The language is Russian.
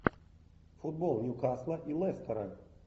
футбол ньюкасла и лестера